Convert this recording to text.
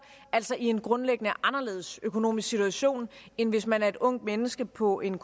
altså i en grundlæggende anderledes økonomisk situation end hvis man er et ungt menneske på en